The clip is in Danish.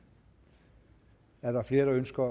er der flere der ønsker